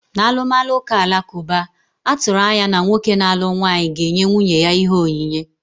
N'alụmalụ ụka alakụba, a tụrụ anya na nwoke na-alụ nwaanyị ga-enye nwunye ya ihe onyinye.